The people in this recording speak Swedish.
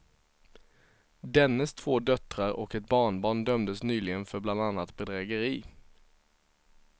Dennes två döttrar och ett barnbarn dömdes nyligen för bland annat bedrägeri.